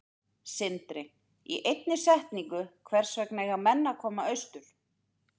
Sindri: Í einni setningu, hvers vegna eiga menn að koma austur?